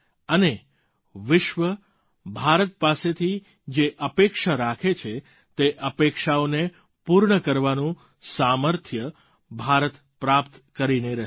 અને વિશ્વ ભારત પાસેથી જે અપેક્ષા રાખે છે તે અપેક્ષાઓને પૂર્ણ કરવાનું સામર્થ્ય ભારત પ્રાપ્ત કરીને રહે